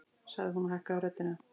sagði hún og hækkaði röddina.